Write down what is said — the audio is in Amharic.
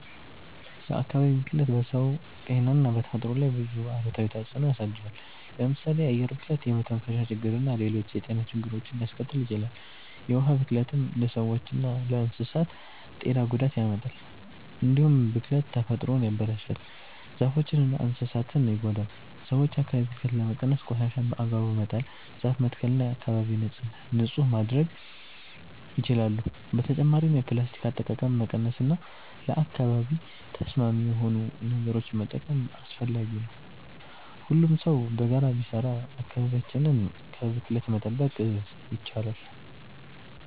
የአካባቢ ብክለት በሰው ጤና እና በተፈጥሮ ላይ ብዙ አሉታዊ ተጽዕኖ ያሳድራል። ለምሳሌ የአየር ብክለት የመተንፈሻ ችግርና ሌሎች የጤና ችግሮችን ሊያስከትል ይችላል። የውሃ ብክለትም ለሰዎችና ለእንስሳት ጤና ጉዳት ያመጣል። እንዲሁም ብክለት ተፈጥሮን ያበላሻል፣ ዛፎችንና እንስሳትን ይጎዳል። ሰዎች የአካባቢ ብክለትን ለመቀነስ ቆሻሻን በአግባቡ መጣል፣ ዛፍ መትከል እና አካባቢን ንጹህ ማድረግ ይችላሉ። በተጨማሪም የፕላስቲክ አጠቃቀምን መቀነስ እና ለአካባቢ ተስማሚ የሆኑ ነገሮችን መጠቀም አስፈላጊ ነው። ሁሉም ሰው በጋራ ቢሰራ አካባቢያችንን ከብክለት መጠበቅ ይቻላል።